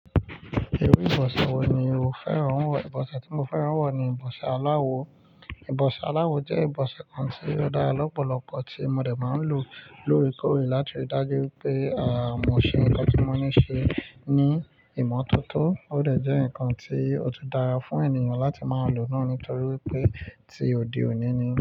Iru ìbọsẹ̀ wo ni o fẹ́ràn wọ̀? Ìbọsẹ̀ tí mo fẹ́ràn wọ̀ ni ìbọsẹ̀ aláwo. Ìbọsẹ̀ aláwo jẹ́ ìbọsẹ̀ kan tí ó dára lọ́pọ̀lọpọ̀ tí mo dè ẹ́ máa ń lò lóorekọorè láti ríi dájú wipé, à, mo ṣe ohun tí mo ní ṣe ní ìmọ́tótó. Ó dẹ̀ jẹ́ nǹkan tí ó tùn dára fún ènìyàn láti máa lò naa nítorí wipé tí òde òní ni.